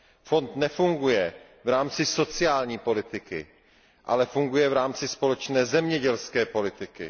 Fond nefunguje v rámci sociální politiky, ale funguje v rámci společné zemědělské politiky.